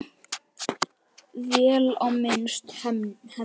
Vel á minnst: Hemmi.